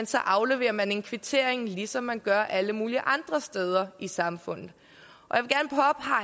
så afleverer man en kvittering ligesom de gør alle mulige andre steder i samfundet